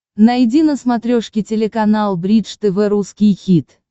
найди на смотрешке телеканал бридж тв русский хит